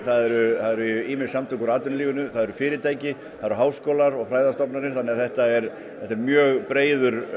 það eru ýmis samtök úr atvinnulífinu það er fyrirtæki það eru háskólar og fræðastofnanir þannig að þetta er þetta er mjög breiður